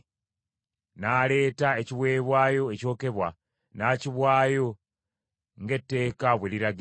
N’aleeta ekiweebwayo ekyokebwa n’akiwaayo ng’etteeka bwe liragira.